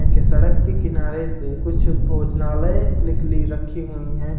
सड़क के किनारे से कुछ भोजनालय निकली रखी हुई है।